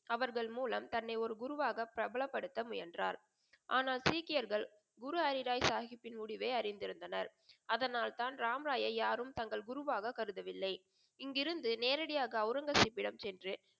அவர்கள் மூலம் தன்னை ஒரு குருவாக பிரபலப்படுத்த முயன்றார். ஆனால் சீக்கியர்கள் குரு ஹரி ராய் சாஹிபின் முடிவை அறிந்து இருந்தனர். அதனால் தான் ராம் ராயை யாரும் தங்கள் குருவாக கருதவில்லை. இங்கிருந்து நேராக அவுரங்கசீப்பிடம் சென்று